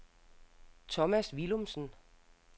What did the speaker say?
Thomas Willumsen